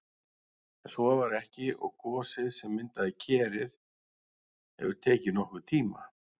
En svo var ekki og gosið sem myndaði Kerið hefur tekið nokkurn tíma.